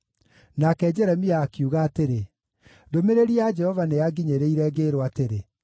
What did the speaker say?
Nake Jeremia akiuga atĩrĩ, “Ndũmĩrĩri ya Jehova nĩyanginyĩrire ngĩĩrwo atĩrĩ: